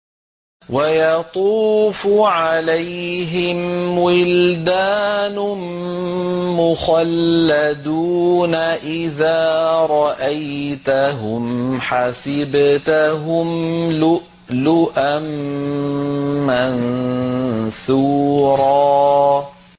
۞ وَيَطُوفُ عَلَيْهِمْ وِلْدَانٌ مُّخَلَّدُونَ إِذَا رَأَيْتَهُمْ حَسِبْتَهُمْ لُؤْلُؤًا مَّنثُورًا